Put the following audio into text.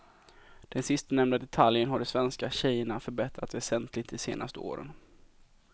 Den sistnämnda detaljen har de svenska tjejerna förbättrat väsentligt de senaste åren.